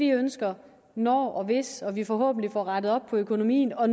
ønsker når og hvis vi forhåbentlig får rettet op på økonomien og